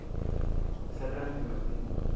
e sa le ka ledimadimana